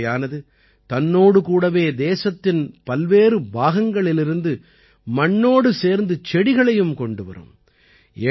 இந்த யாத்திரையானது தன்னோடு கூடவே தேசத்தின் பல்வேறு பாகங்களிலிருந்து மண்ணோடு சேர்ந்து செடிகளையும் கொண்டு வரும்